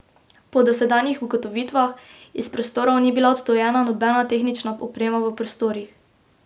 Po dosedanjih ugotovitvah, iz prostorov ni bila odtujena nobena tehnična oprema v prostorih.